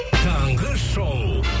таңғы шоу